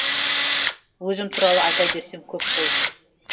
өзім туралы айта берсем көп қой